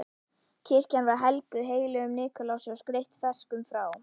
Kirkjan var helguð heilögum Nikulási og skreytt freskum frá